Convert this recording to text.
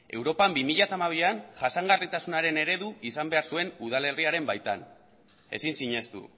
europan bi mila hamabian jasangarritasunaren eredu izan behar zuen udalerriaren baitan ezin sinestu